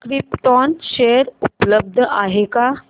krypton share उपलब्ध आहेत का